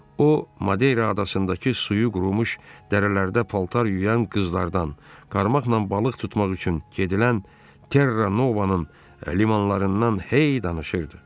O, Madera adasındakı suyu qurumuş dərələrdə paltar yuyan qızlardan, karmaqla balıq tutmaq üçün gedilən Terra Novanın limanlarından hey danışırdı.